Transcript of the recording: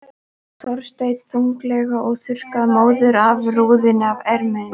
Þorsteinn þunglega og þurrkaði móðuna af rúðunni með erminni.